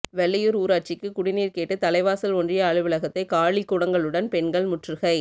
வெள்ளையூர் ஊராட்சிக்கு குடிநீர் கேட்டு தலைவாசல் ஒன்றிய அலுவலகத்தை காலிக்குடங்களுடன் பெண்கள் முற்றுகை